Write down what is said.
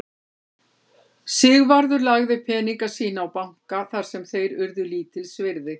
Sigvarður lagði peninga sína á banka þar sem þeir urðu lítils virði.